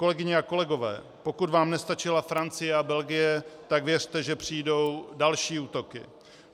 Kolegyně a kolegové, pokud vám nestačila Francie a Belgie, tak věřte, že přijdou další útoky.